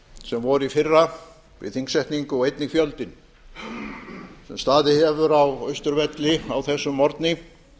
sem voru í fyrra við þingsetningu og einnig fjöldinn sem staðið hefur á austurvelli á þessum morgni